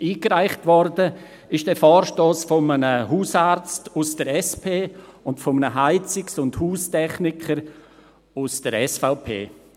Eingereicht wurde der Vorstoss von einem Hausarzt aus der SP und einem Heizungs- und Haustechniker aus der SVP.